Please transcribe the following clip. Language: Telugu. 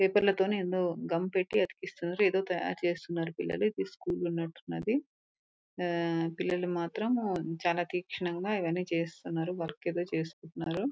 పేపర్ లతోనే ఏందో గమ్ పెట్టి అతికిస్తున్నారు. ఏదో తయారు చేస్తున్నారు పిల్లలు. ఇది స్కూల్ ఉన్నట్టుంది. ఆహ్ పిల్లలు మాత్రం చాలా తిక్షనంగా ఇవ్వని చేస్తున్నారు.వర్క్ ఐతే చేసుకుంటున్నారు.